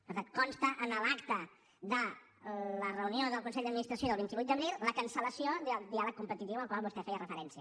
per tant consta en l’acta de la reunió del consell d’administració del vint vuit d’abril la cancel·lació del diàleg competitiu al qual vostè feia referència